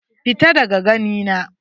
Fita daga gani na.